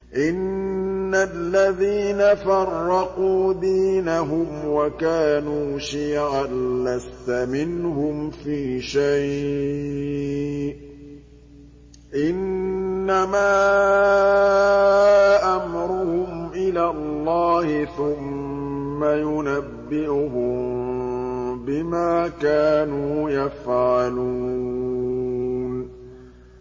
إِنَّ الَّذِينَ فَرَّقُوا دِينَهُمْ وَكَانُوا شِيَعًا لَّسْتَ مِنْهُمْ فِي شَيْءٍ ۚ إِنَّمَا أَمْرُهُمْ إِلَى اللَّهِ ثُمَّ يُنَبِّئُهُم بِمَا كَانُوا يَفْعَلُونَ